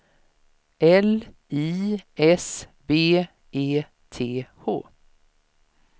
L I S B E T H